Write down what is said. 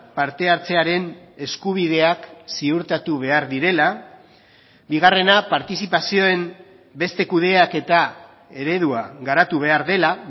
partehartzearen eskubideak ziurtatu behar direla bigarrena partizipazioen beste kudeaketa eredua garatu behar dela